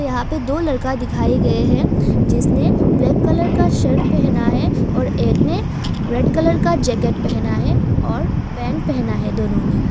यहां पे दो लड़का दिखाई गए हैं जिसने ब्लैक कलर का शर्ट पहना है और एक ने रेड कलर का जैकेट पहना है और पैंट पहना है दोनों ने।